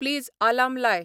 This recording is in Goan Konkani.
प्लीज आलार्म लाय